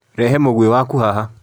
Rehe mũgwĩ waku haha.